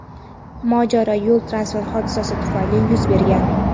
mojaro yo‘l-transport hodisasi tufayli yuz bergan.